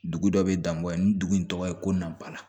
Dugu dɔ bɛ danbɔ ye ni dugu in tɔgɔ ye ko nabara